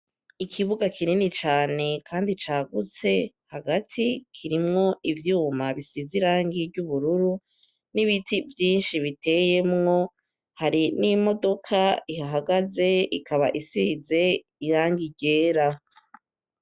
Ikibuga kinini cane, kandi cagutse hagati kirimwo ivyuma bisize irang iryo ubururu n'ibiti vyinshi biteyemwo hari n'imodoka ihahagaze ikaba isize iranga igera.